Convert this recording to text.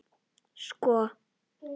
Sko